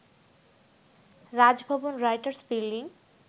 Raj Bhavan, writers building